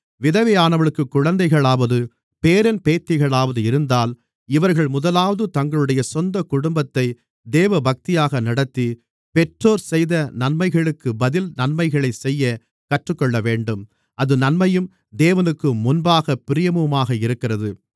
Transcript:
விதவையானவளுக்கு குழந்தைகளாவது பேரன் பேத்திகளாவது இருந்தால் இவர்கள் முதலாவது தங்களுடைய சொந்தக் குடும்பத்தைத் தேவபக்தியாக நடத்தி பெற்றோர் செய்த நன்மைகளுக்குப் பதில் நன்மைகளைச் செய்யக் கற்றுக்கொள்ளவேண்டும் அது நன்மையும் தேவனுக்கு முன்பாகப் பிரியமுமாக இருக்கிறது